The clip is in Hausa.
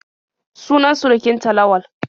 Sunan surukin ta Lawal.